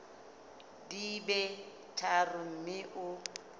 di be tharo mme o